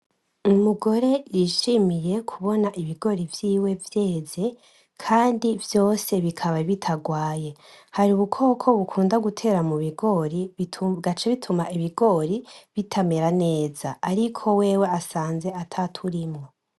Umugore yishimiye kubona ibigori vyiwe vyeze kandi vyose bikaba bitarwaye, hari ubukoko bukunda gutera mubigori bigaca bituma ibigori bitamera neza ariko asanze ataturimwo.